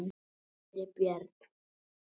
Kæri Björn.